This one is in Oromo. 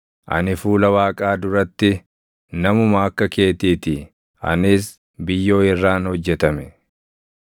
Ani fuula Waaqaa duratti namuma akka keetii ti; anis biyyoo irraan hojjetame.